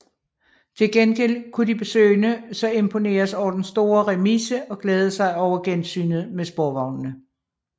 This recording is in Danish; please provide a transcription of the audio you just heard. Til gengæld kunne de besøgende så imponeres over den store remise og glæde sig over gensynet med sporvognene